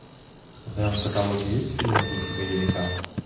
в твоем каталоге есть фильм в духе боевика